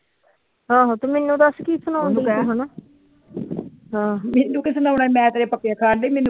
ਆਹੋ ਤੇ ਮੈਨੂੰ ਦਸ ਤੂ ਕੀ ਸਣਾਉਂਦੀ ਆ ਮੇਨੂੰ ਕੀ ਸਣੋਣਾ ਮੈ ਤੇ